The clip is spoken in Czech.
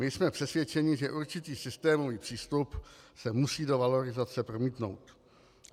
My jsme přesvědčeni, že určitý systémový přístup se musí do valorizace promítnout.